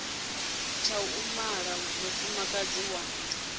tsha u mala mufumakadzi wa